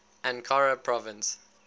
ankara province